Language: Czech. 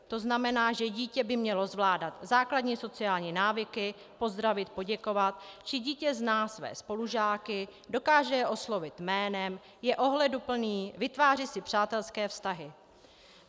To znamená, že dítě by mělo zvládat základní sociální návyky, pozdravit, poděkovat, zda dítě zná své spolužáky, dokáže je oslovit jménem, je ohleduplné, vytváří si přátelské vztahy.